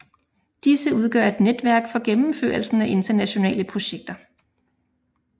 Disse udgør et netværk for gennemførelsen af internationale projekter